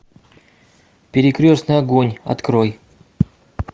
перекрестный огонь открой